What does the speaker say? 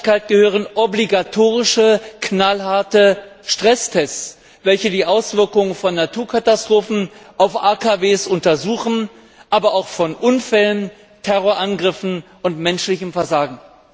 Zur Nachhaltigkeit gehören obligatorische, knallharte Stresstests, welche die Auswirkungen von Naturkatastrophen auf AKW untersuchen, aber auch von Unfällen, Terrorangriffen und menschlichem Versagen.